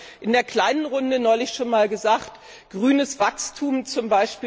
Ich habe in der kleinen Runde neulich schon einmal gesagt Grünes Wachstum z.